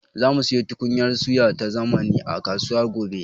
Zamu siyo tukunyar suya ta zamani a kasuwa gobe.